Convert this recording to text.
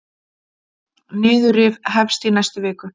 Niðurrif hefst í næstu viku.